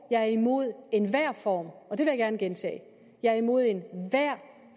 jeg er imod enhver form og det vil jeg gerne gentage jeg er imod enhver